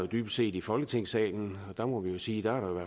dybest set i folketingssalen og der må vi sige at